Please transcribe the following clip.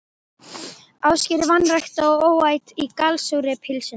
Ásgeirs, vanrækt og óæt í gallsúrri pylsunni.